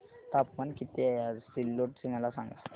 तापमान किती आहे आज सिल्लोड चे मला सांगा